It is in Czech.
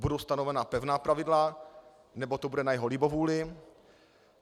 Budou stanovena pevná pravidla, nebo to bude na jeho libovůli?